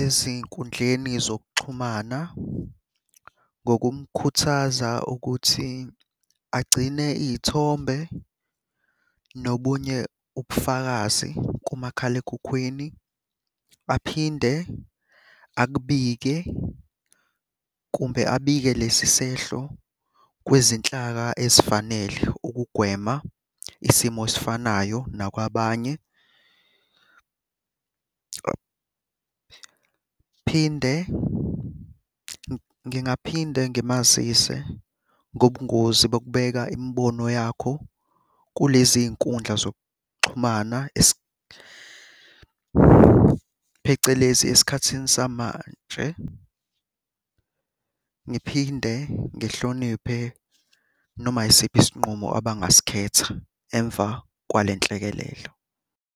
ezinkundleni zokuxhumana ngokumkhuthaza ukuthi agcine iy'thombe nobunye ubufakazi kumakhalekhukhwini. Aphinde akubike kumbe abike lesi sehlo kwezinhlaka esifanele ukugwema isimo esifanayo nakwabanye. Phinde ngingaphinde ngimazise ngobungozi bokubeka imibono yakho kulezi nkundla zokuxhumana phecelezi esikhathini samanje. Ngiphinde ngihloniphe noma yisiphi isinqumo abangasikhetha emva kwale nhlekelelo.